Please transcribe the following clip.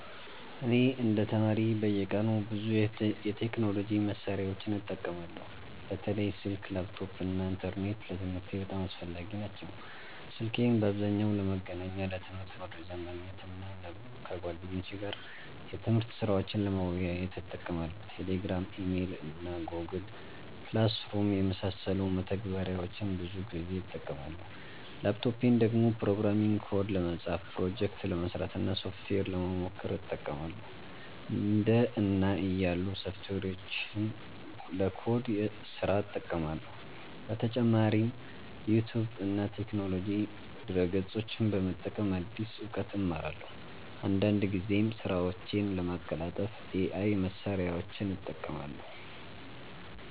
እኔ እንደ ተማሪ በየቀኑ ብዙ የቴክኖሎጂ መሳሪያዎችን እጠቀማለሁ። በተለይ ስልክ፣ ላፕቶፕ እና ኢንተርኔት ለትምህርቴ በጣም አስፈላጊ ናቸው። ስልኬን በአብዛኛው ለመገናኛ፣ ለትምህርት መረጃ ማግኘት እና ከጓደኞቼ ጋር የትምህርት ስራዎችን ለመወያየት እጠቀማለሁ። Telegram፣ Email እና Google Classroom የመሳሰሉ መተግበሪያዎችን ብዙ ጊዜ እጠቀማለሁ። ላፕቶፔን ደግሞ ፕሮግራሚንግ ኮድ ለመጻፍ፣ ፕሮጀክት ለመስራት እና ሶፍትዌር ለመሞከር እጠቀማለሁ። እንደ እና ያሉ ሶፍትዌሮችን ለኮድ ስራ እጠቀማለሁ። በተጨማሪም ዩቲዩብ እና የቴክኖሎጂ ድረ-ገጾችን በመጠቀም አዲስ እውቀት እማራለሁ። አንዳንድ ጊዜም ስራዎቼን ለማቀላጠፍ AI መሳሪያዎችን እጠቀማለሁ።